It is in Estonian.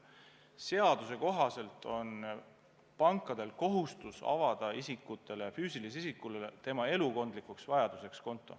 Seaduse kohaselt on pankadel kohustus avada füüsilisele isikule tema elukondlikuks vajaduseks konto.